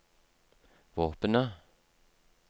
våpenet